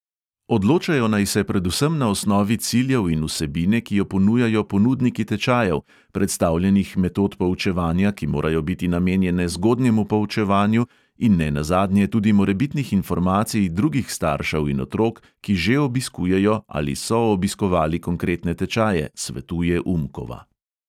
Odločajo naj se predvsem na osnovi ciljev in vsebine, ki jo ponujajo ponudniki tečajev, predstavljenih metod poučevanja, ki morajo biti namenjene zgodnjemu poučevanju, in ne nazadnje tudi morebitnih informacij drugih staršev in otrok, ki že obiskujejo, ali so obiskovali konkretne tečaje, svetuje umkova.